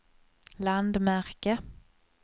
landmärke